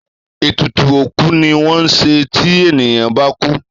Ètùtù òkú ni wón ńṣe tí ènìyàn bá kú